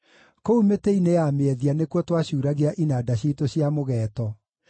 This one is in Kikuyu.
Kũu mĩtĩ-inĩ ya mĩethia nĩkuo twacuuragia inanda ciitũ cia mũgeeto,